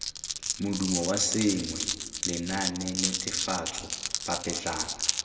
modumo wa sengwe lenaanenetefatso papetlana